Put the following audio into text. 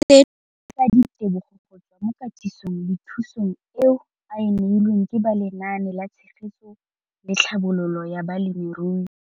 Seno ke ka ditebogo go tswa mo katisong le thu song eo a e neilweng ke ba Lenaane la Tshegetso le Tlhabololo ya